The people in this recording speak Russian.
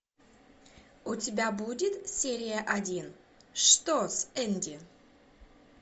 у тебя будет серия один что с энди